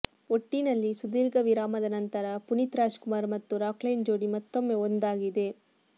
ಒಟ್ಟಿನಲ್ಲಿ ಸುದೀರ್ಘ ವಿರಾಮದ ನಂತರ ಪುನೀತ್ ರಾಜ್ಕುಮಾರ್ ಮತ್ತು ರಾಕ್ಲೈನ್ ಜೋಡಿ ಮತ್ತೊಮ್ಮೆ ಒಂದಾಗಿದೆ